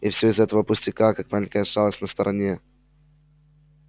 и все из-за такого пустяка как маленькая шалость на стороне